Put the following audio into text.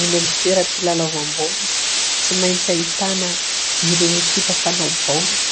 Eny amin'ny toeram-pilalaovam-baolina, tsy maintsy ahitana ireo ekipa mpanao baolina,